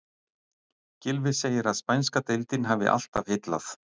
Gylfi segir að spænska deildin hafi alltaf heillað.